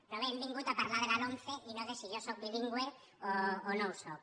però bé hem vingut a parlar de la lomce i no de si jo sóc bilingüe o no ho sóc